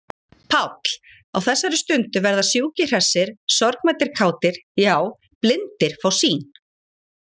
PÁLL: Á þessari stundu verða sjúkir hressir, sorgmæddir kátir,- já, blindir fá sýn!